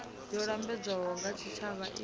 yo lambedzwaho nga tshitshavha i